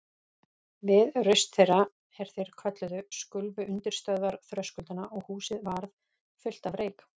Við raust þeirra, er þeir kölluðu, skulfu undirstöður þröskuldanna og húsið varð fullt af reyk.